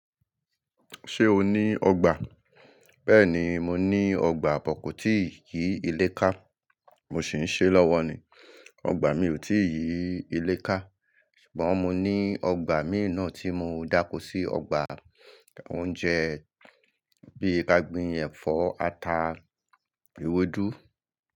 Ṣé o ní ọgbà? Bẹ́ẹ̀ni, mo ní ọgbà pọ̀kú tí kì í lé ká, mo sì ń ṣe lọ́wọ́ ni, ọgbà mi ò tí ì lé ká, ṣùgbọ́n mo ní ọgbà mìí nà tí mo dákó sí ọgbà oúnjẹ bí i kàgbín, ẹ̀fọ́, ata, ewedù.